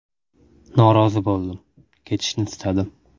Norozi bo‘ldim, ketishni istadim.